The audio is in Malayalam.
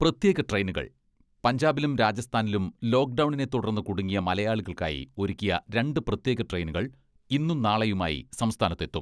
പ്രത്യേക ട്രെയിനുകൾ പഞ്ചാബിലും രാജസ്ഥാനിലും ലോക്ഡൗണിനെ തുടർന്ന് കുടുങ്ങിയ മലയാളികൾക്കായി ഒരുക്കിയ രണ്ട് പ്രത്യേക ട്രെയിനുകൾ ഇന്നും നാളെയുമായി സംസ്ഥാനത്തെത്തും.